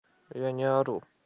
я не ору